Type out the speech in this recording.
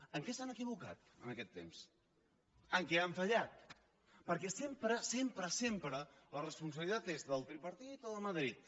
en què s’han equivocat en aquest temps en què han fallat perquè sempre sempre sempre la responsabilitat és del tripartit o de madrid